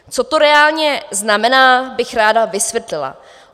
Co to reálně znamená, bych ráda vysvětlila.